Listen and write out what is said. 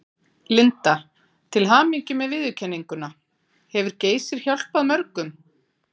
Linda: Til hamingju með viðurkenninguna, hefur Geysir hjálpað mörgum?